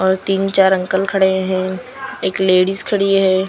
और तीन चार अंकल खड़े हैं एक लेडीज खड़ी है।